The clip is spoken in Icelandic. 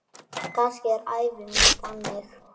Kannski er ævi mín þannig.